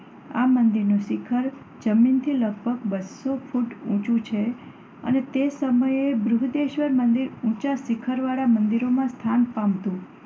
આ મંદિરનું શિખર જમીનથી લગભગ બસો ફૂટ ઊંચું છે અને તે સમયે બૃહદેશ્વર મંદિર ઊંચા શિખરવાળા મંદિરમાં સ્થાન પામતું.